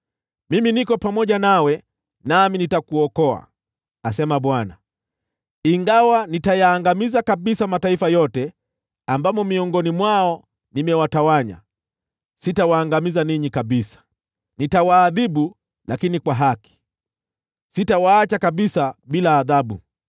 Mimi niko pamoja nawe, nami nitakuokoa,’ asema Bwana . ‘Ingawa nitayaangamiza kabisa mataifa yote ambamo miongoni mwao nimewatawanya, sitawaangamiza ninyi kabisa. Nitawaadhibu, lakini kwa haki. Sitawaacha kabisa bila adhabu.’